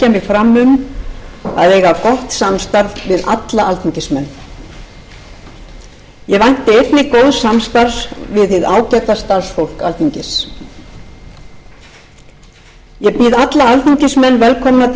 ég leggja mig fram um að eiga gott samstarf við alla alþingismenn ég vænti einnig góðs samstarfs við hið ágæta starfsfólk alþingis ég býð alla alþingismenn velkomna